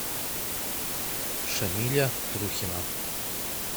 шамиля трухина